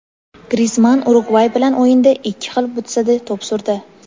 Grizmann Urugvay bilan o‘yinda ikki xil butsada to‘p surdi.